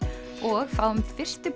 og fáum fyrstu